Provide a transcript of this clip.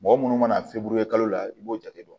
Mɔgɔ munnu mana fe buru ye kalo la i b'o jate dɔn